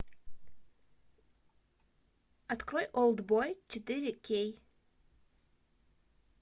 открой олд бой четыре кей